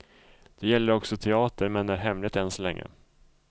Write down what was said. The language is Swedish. Det gäller också teater, men är hemligt än så länge.